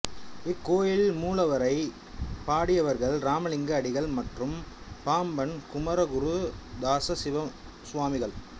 இக்கோயில் மூலவரை பாடியவர்கள் இராமலிங்க அடிகள் மற்றும் பாம்பன் குமரகுருதாச சுவாமிகள்